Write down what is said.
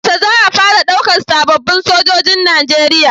Yaushe za a fara ɗaukan sababin Sojojin nigeria?